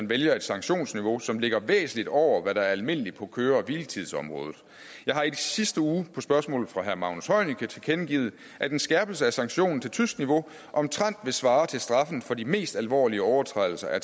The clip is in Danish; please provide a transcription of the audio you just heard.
vælge et sanktionsniveau som ligger væsentligt over hvad der er almindeligt på køre og hviletidsområdet jeg har i sidste uge på et spørgsmål fra herre magnus heunicke tilkendegivet at en skærpelse af sanktionen til tysk niveau omtrent vil svare til straffen for de mest alvorlige overtrædelser af